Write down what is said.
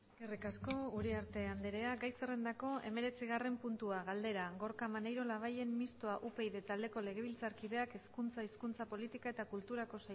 eskerrik asko uriarte andrea gai zerrendako hemeretzigarren puntua galdera gorka maneiro labayen mistoa upyd taldeko legebiltzarkideak hezkuntza hizkuntza politika eta kulturako